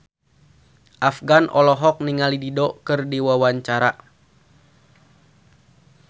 Afgan olohok ningali Dido keur diwawancara